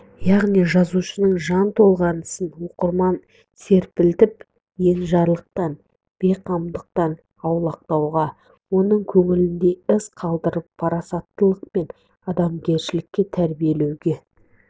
яғни жазушының жан толғанысы оқырманды серпілтіп енжарлықтан бейқамдықтан аулақтауға оның көңілінде із қалдырып парасаттылық пен адамгершілікке тәрбиелеуге